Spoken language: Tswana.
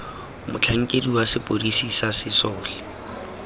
motlhankedi wa sepodisi sa sesole